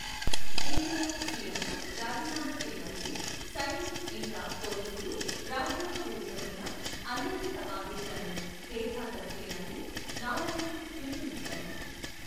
ఇందిర, సీఎంలు రాజీనామా చేయాలని, సైన్యం ఇంకా పోలీసులు రాజ్యాంగ విరుద్ధమైన, అనైతిక ఆదేశాలను బేఖాతరు చేయాలని నారాయణ్ పిలుపునిచ్చారు.